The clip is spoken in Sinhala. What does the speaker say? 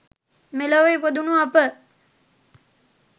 මෙලොව ඉපදුණු අප